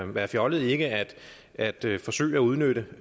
være fjollet ikke at forsøge at udnytte